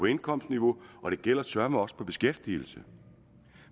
indkomstniveau og det gælder søreme også til beskæftigelse